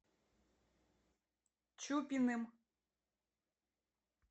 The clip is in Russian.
чупиным